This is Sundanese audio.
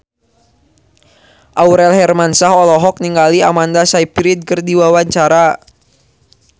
Aurel Hermansyah olohok ningali Amanda Sayfried keur diwawancara